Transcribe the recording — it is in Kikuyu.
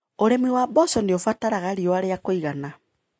ũrĩmĩ wa mboco nĩũbataraga riũa rĩa kũigana.